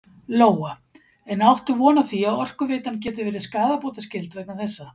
Lóa: En áttu von á því að Orkuveitan geti verið skaðabótaskyld vegna þessa?